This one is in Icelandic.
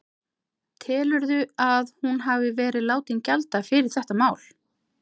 Telurðu að hún hafi verið látin gjalda fyrir þetta mál?